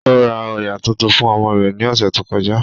Ó ra òyà tuntun fún ọmọ rẹ̀ ní ọ̀sẹ̀ tó kọjá